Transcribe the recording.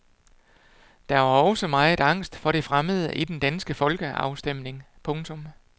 Der var også meget angst for det fremmede i den danske folkeafstemning. punktum